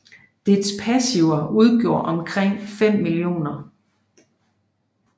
Dets passiver udgjorde omkring 5 Mill